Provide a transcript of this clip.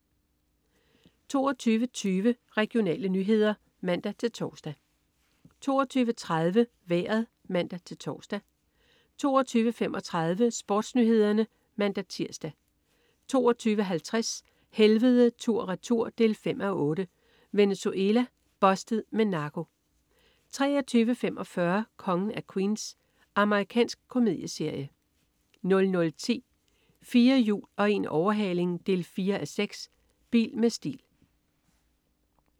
22.20 Regionale nyheder (man-tors) 22.30 Vejret (man-tors) 22.35 SportsNyhederne (man-tirs) 22.50 Helvede tur/retur 5:8. Venezuela. "Bustet" med narko 23.45 Kongen af Queens. Amerikansk komedieserie 00.10 4 hjul og en overhaling 4:6. Bil med stil